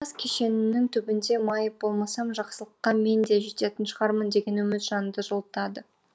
тас кенішінің түбінде майып болмасам жақсылыққа мен де жететін шығармын деген үміт жанды жылытады